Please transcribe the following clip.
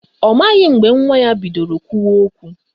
Ọ maghị mgbe nwa ya bidoro kwụwa okwu